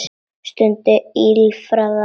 Skundi ýlfraði lágt.